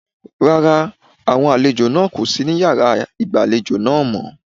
Rárá, àwọn àlejò náà kò sí ní yàrá ìgbàlejò náà mọ́.